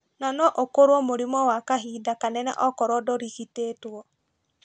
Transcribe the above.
Na no ukorwo mũrimũ wa kahinda kanene okorwo dũrigitĩtwo